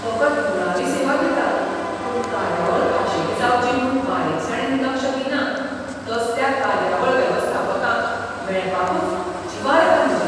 फकत मुळावी सेवा दिता, पूण कार्यावळ खाशेली जावची म्हूण बारीकसाणेन लक्ष दिना तसल्या कार्यावळ वेवस्थापकांक मेळपाकूच जिवार येता म्हज्या.